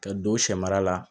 Ka don sɛ mara la